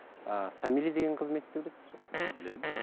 ііі самилия деген қызметті білесіз ғой білемін